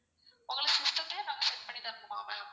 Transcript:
உங்களுக்கு system தையும் நாங்க set பண்ணி தரணுமா ma'am?